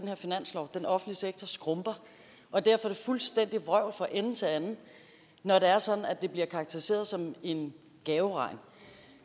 den offentlige sektor skrumper og derfor er det fuldstændigt vrøvl fra ende til anden når det er sådan at det bliver karakteriseret som en gaveregn